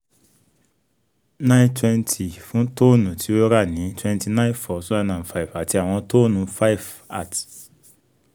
nine twenty fun tonne ti o ra ni twenty nine four two thousand and five ati awọn toonu five at